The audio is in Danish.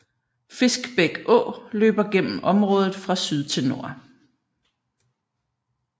Fiskbæk å løber gennem området fra syd til nord